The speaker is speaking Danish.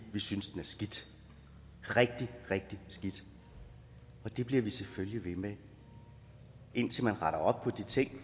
synes den er skidt rigtig rigtig skidt og det bliver vi selvfølgelig ved med indtil man retter op på de ting